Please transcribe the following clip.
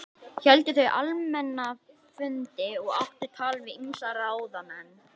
Héldu þau almenna fundi og áttu tal við ýmsa ráðamenn.